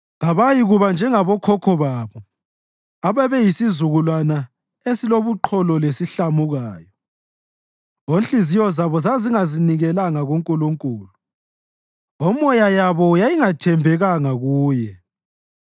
Kabayikuba njengabokhokho babo ababeyisizukulwana esilobuqholo lesihlamukayo, onhliziyo zabo zazingazinikelanga kuNkulunkulu omoya yabo yayingathembekanga kuye.